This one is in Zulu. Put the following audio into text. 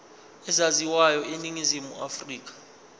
ezaziwayo eningizimu afrika